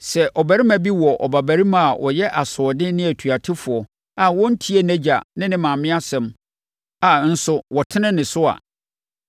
Sɛ ɔbarima bi wɔ ɔbabarima a ɔyɛ asoɔden ne otuatefoɔ a ɔntie nʼagya ne ne maame asɛm a nso wɔtene ne so a,